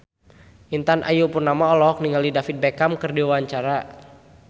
Intan Ayu Purnama olohok ningali David Beckham keur diwawancara